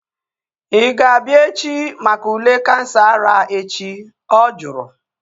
Ị ga-abịa echi maka ule kansa ara echi? She asked